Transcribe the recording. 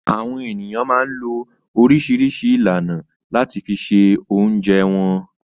Àwọn ènìyàn máa ń lo oríṣiríṣi ìlànà láti fi se oúnjẹ wọn.